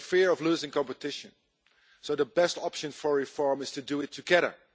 They fear losing competition, so the best option for reform is to do it together.